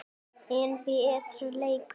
enn betri leikur.